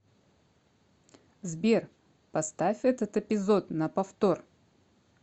сбер поставь этот эпизод на повтор